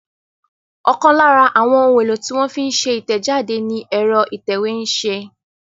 Ọ̀kan lára àwọn ohun-èlò tí wọ́n fi ń ṣe ìtẹ̀jáde ni ẹ̀rọ ìtẹ̀wé ń ṣe.